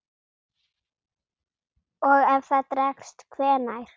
Og ef það dregst. hvenær?